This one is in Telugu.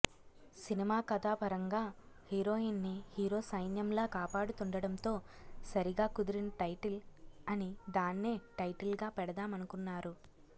సినిమా కథాపరంగా హీరోయిన్ ని హీరో సైన్యంలా కాపాడుతుండడంతో సరిగా కుదిరిన టైటిల్ అని దాన్నే టైటిల్ గా పెడదామనకున్నారు